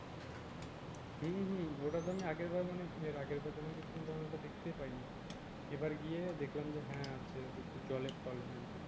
হম হম ওটা তো আমি আগের বার আমি আগের বছর গিয়েছিলাম তখন আমি দেখতেই পাই নি এবার গিয়ে দেখলাম যে হ্যাঁ হচ্ছে জলের তলে